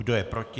Kdo je proti?